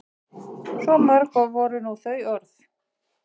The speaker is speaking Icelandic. Svo mörg voru nú þau orð.